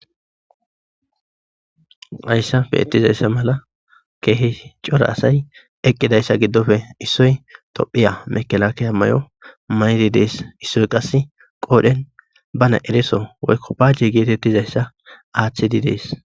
Hayssape ettizayssa mala keehi cora asay eqqidayssa giddope issoy tophiya mekelaakey mayo mayri dees issoy qasse qoodhen bana ereso woykko baajje geetettizayssa aaththedi dees.